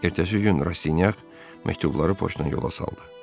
Ertəsi gün Rastinyak məktubları poçtdan yola saldı.